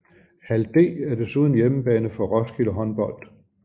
Hal D er desuden hjemmebane for Roskilde Håndbold